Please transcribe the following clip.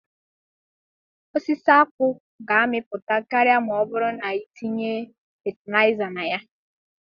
Osisi akpu ga-amịpụta karịa ma ọ bụrụ na itinye fatịlaịza na ya.